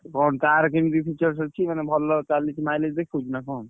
କଣ ତାର କେମିତି features ଅଛି ମାନେ ଭଲ ଚାଲୁଚି mileage ଦେଖଉଛି ନା କଣ?